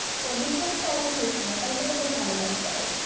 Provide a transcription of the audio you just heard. Distance টা অত বেশি না তাই জন্য তোর ভালো লাগবে আরো।